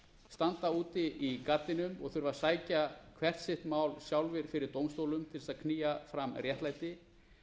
standa úti í gaddinum og þurfa að sækja hvert sitt mál sjálfir fyrir dómstólum ætla þess að knýja fram réttlæti